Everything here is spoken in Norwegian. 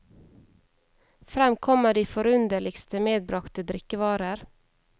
Frem kommer de forunderligste medbragte drikkevarer.